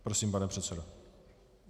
Prosím, pane předsedo.